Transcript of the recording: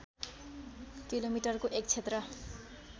किलोमिटरको एक क्षेत्र